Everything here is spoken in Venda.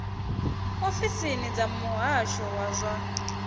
ofisini dza muhasho wa zwa